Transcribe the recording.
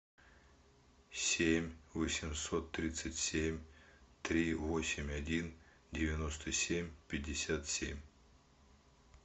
семь восемьсот тридцать семь три восемь один девяносто семь пятьдесят семь